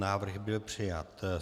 Návrh byl přijat.